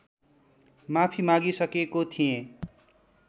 माफी मागी सकेको थिएँ